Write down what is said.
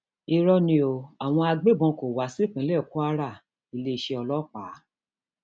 irọ ni o àwọn agbébọn o kó wá sípínlẹ kwara oiléeṣẹ ọlọpàá